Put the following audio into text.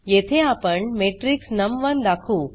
येथे आपण मॅट्रिक्स नम1 दाखवू